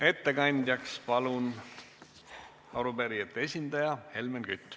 Ettekandjaks palun arupärijate esindaja Helmen Küti.